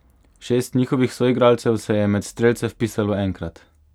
Šest njihovih soigralcev se je med strelce vpisalo enkrat.